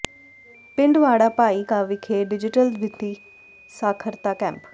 ਪਿੰਡ ਵਾੜਾ ਭਾਈ ਕਾ ਵਿਖੇ ਡਿਜੀਟਲ ਵਿੱਤੀ ਸਾਖਰਤਾ ਕੈਂਪ